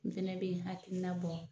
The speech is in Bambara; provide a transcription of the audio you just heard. N hɛnɛ be n hakilina bɔ